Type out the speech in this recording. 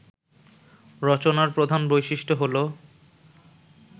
রচনার প্রধান বৈশিষ্ট্য হলো